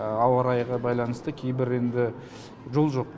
ауа райға байланысты кейбір енді жол жоқ